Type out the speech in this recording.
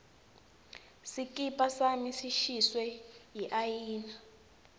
sikipa sami sishiswe yiayina